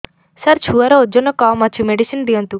ସାର ଛୁଆର ଓଜନ କମ ଅଛି ମେଡିସିନ ଦିଅନ୍ତୁ